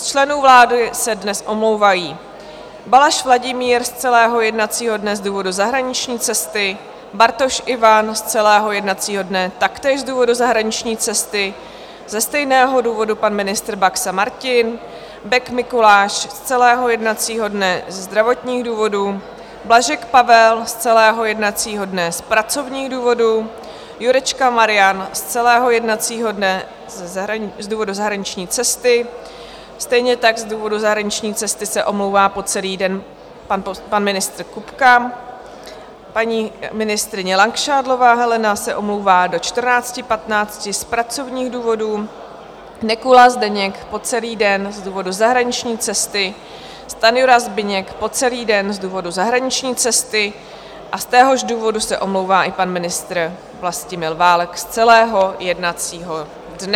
Z členů vlády se dnes omlouvají: Balaš Vladimír z celého jednacího dne z důvodu zahraniční cesty, Bartoš Ivan z celého jednacího dne taktéž z důvodu zahraniční cesty, ze stejného důvodu pan ministr Baxa Martin, Bek Mikuláš z celého jednacího dne ze zdravotních důvodů, Blažek Pavel z celého jednacího dne z pracovních důvodů, Jurečka Marian z celého jednacího dne z důvodu zahraniční cesty, stejně tak z důvodu zahraniční cesty se omlouvá po celý den pan ministr Kupka, paní ministryně Langšádlová Helena se omlouvá do 14.15 z pracovních důvodů, Nekula Zdeněk po celý den z důvodu zahraniční cesty, Stanjura Zbyněk po celý den z důvodu zahraniční cesty a z téhož důvodu se omlouvá i pan ministr Vlastimil Válek z celého jednacího dne.